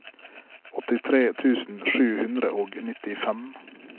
åttitre tusen sju hundre og nittifem